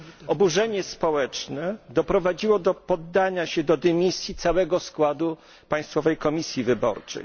Oburzenie społeczne doprowadziło do podania się do dymisji całego składu Państwowej Komisji Wyborczej.